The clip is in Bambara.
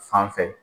Fan fɛ